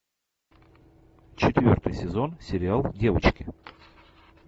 четвертый сезон сериал девочки